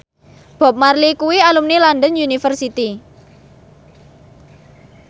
Bob Marley kuwi alumni London University